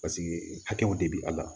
Paseke hakɛw de bi a la